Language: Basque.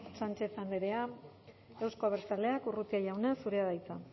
sánchez andrea euzko abertzaleak urrutia jauna zurea da hitza